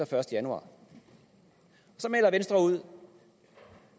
første januar så melder venstre ud